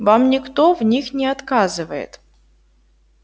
вам никто в них не отказывает